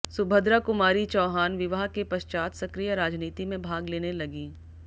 सुभद्रा कुमारी चौहान विवाह के पश्चात सक्रिय राजनीति में भाग लेने लगीं